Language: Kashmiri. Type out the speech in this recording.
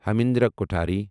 ہیمندرا کوٹھاری